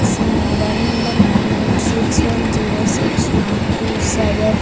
इसमें mobile number nine eight six one zero six one two seven.